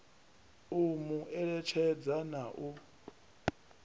u mu eletshedza na u